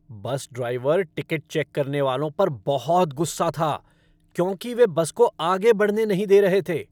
बस driver ticket check करने वालों पर बहुत गुस्सा था क्योंकि वे बस को आगे बढ़ने नहीं दे रहे थे।